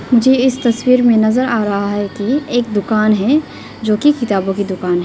मुझे इस तस्वीर में नजर आ रहा है कि एक दुकान है जो की किताबों की दुकान है।